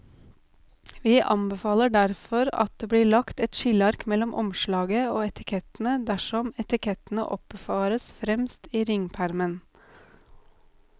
Vi anbefaler derfor at det blir lagt et skilleark mellom omslaget og etikettene dersom etikettene oppbevares fremst i ringpermen.